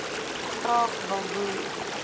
graag wil boer